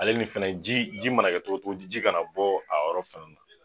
Ale nin fɛnɛ ji mana kɛ togo togo ji ka na bɔ, a yɔrɔ fana na.